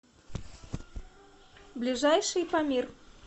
ближайший памир